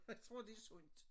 Jeg tror det sundt